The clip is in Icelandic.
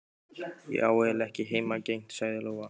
Ég á eiginlega ekki heimangengt, sagði Lóa.